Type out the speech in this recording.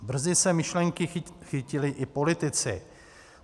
Brzy se myšlenky chytili i politici.